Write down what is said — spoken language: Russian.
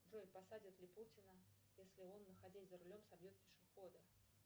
джой посадят ли путина если он находясь за рулем собьет пешехода